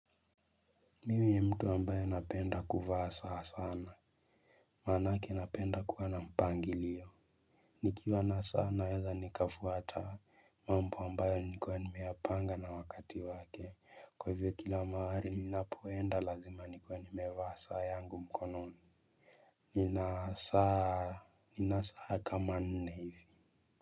Mimi ni mtu ambaye napenda kuvaa saa sana. Maanake napenda kuwa na mpangilio. Nikiwa na saa naeza nikafuata mambo ambayo nikuwa nimeyapanga na wakati wake. Kwa hivyo kila mahali ninapoenda lazima nikuwe nimevaa saa yangu mkononi. Nina saa kama nne hivi.